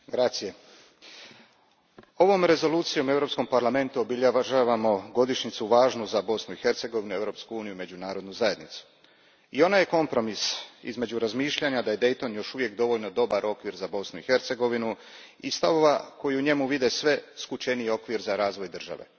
Poštovani predsjedniče, ovom Rezolucijom u Europskom parlamentu obilježavamo godišnjicu važnu za Bosnu i Hercegovinu, Europsku uniju i međunarodnu zajednicu. I ona je kompromis između razmišljanja da je Dayton još uvijek dovoljno dobar okvir za Bosnu i Hercegovinu i stavova koji u njemu vide sve skučeniji okvir za razvoj države.